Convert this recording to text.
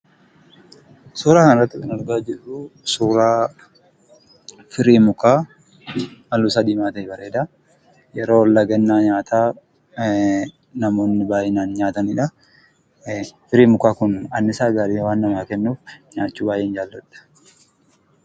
Suuraa kana irratti kan argaa jirruu, firii mukaa halluun isaa diimaa ta'e bareedaa yeroo lagannaa nyaataa namooni baay'inaan nyaataniidha. Firiin mukaa kun annisaa gaarii waan namaa kennuuf nyaachuu baay'een jaaladha.